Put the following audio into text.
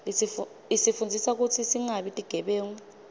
isifundzisa kutsi singabi tigebengu